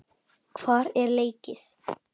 Hvar er leikið?